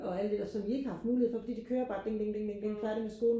og alt det der som de ikke har haft mulighed for fordi det kører bare ding ding ding færdig med skolen